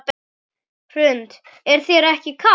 Hrund: Er þér ekki kalt?